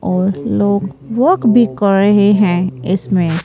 और लोग वॉक भी कर रहे है इसमें--